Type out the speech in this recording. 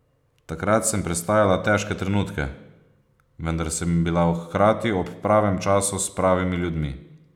Takrat sem prestajala težke trenutke, vendar sem bila hkrati ob pravem času s pravimi ljudmi.